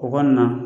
U kɔni na